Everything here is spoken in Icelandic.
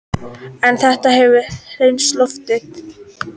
En þetta hefur hreinsað loftið